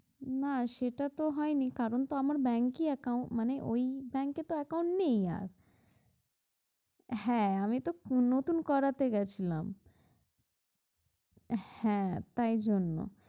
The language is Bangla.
না সেটা তো হয়নি কারণ তো আমার bank accao~ মানে ওই bank এ তো account নেই আর হ্যাঁ আমি তো নতুন করাতে গেছিলাম হ্যাঁ তাই জন্য।